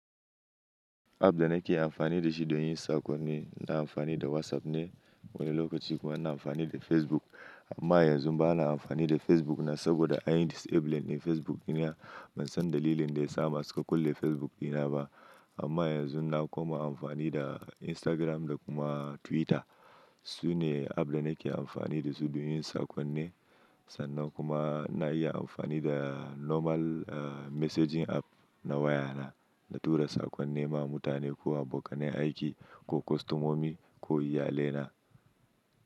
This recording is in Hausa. App dana ke amfani da shi don yin sakonni ina amfani da WhatsApp ne wani lokaci kuma na amfani da Facebook. Amma yanzun ba na amfani da Facebook na saboda anyi disabling na Facebook ɗina. Ban san dalilin da ya sa ma su ka kulle Facebook ɗina ba. Amma yanzun na kuma amfani da Instagram da kuma Twitter. Su ne app dana ke amfani da su don yin sakonni. Sannan kuma na iya amfani da normal messaging app na waya na, na tura sakonni ma mutane ko abokanai aiki ko kostomomi ko iyalaina.